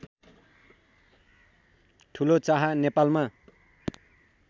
ठुलो चाहा नेपालमा